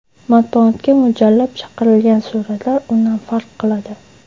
Matbuotga mo‘ljallab chiqarilgan suratlar undan farq qiladi.